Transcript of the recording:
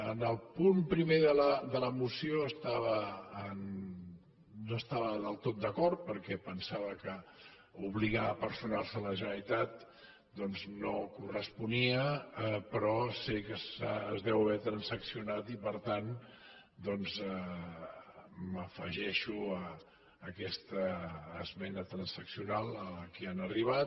en el punt primer de la moció no hi estava del tot d’acord perquè pensava que obligar a personar se la generalitat doncs no corresponia però sé que es deu haver transaccionat i per tant m’afegeixo a aquesta esmena transaccional a la qual han arribat